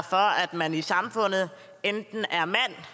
man i samfundet enten er